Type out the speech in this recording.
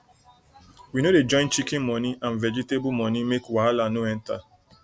we no dey join chicken moni and vegetable moni make wahala no enter